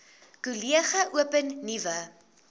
kollege open nuwe